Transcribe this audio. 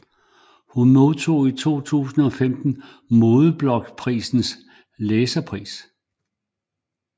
Hun modtog i 2015 Modeblogprisens læserpris